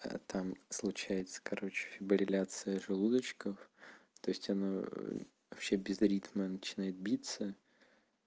а там случается короче фибрилляция желудочков то есть оно вообще без ритма начинает биться